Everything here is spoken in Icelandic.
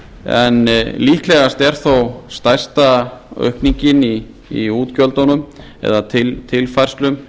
en líklegast er þó stærsta aukningin í útgjöldunum eða tilfærslum